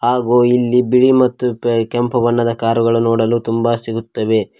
ಹಾಗೂ ಇಲ್ಲಿ ಬಿಳಿ ಮತ್ತು ಕೆಂಪು ಬಣ್ಣದ ಕಾರುಗಳು ನೋಡಲು ತುಂಬ ಸಿಗುತ್ತವೆ.